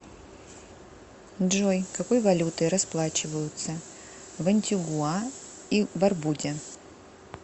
джой какой валютой расплачиваются в антигуа и барбуде